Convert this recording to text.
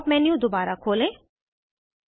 pop up menu दोबारा खोलें